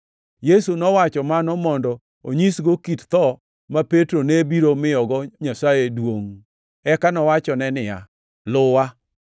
Yesu nowacho mano mondo onyisgo kit tho ma Petro ne biro miyogo Nyasaye duongʼ. Eka nowachone niya, “Luwa!”